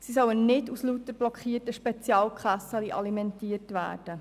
Sie sollen nicht aus lauter blockierten Spezialkassen alimentiert werden.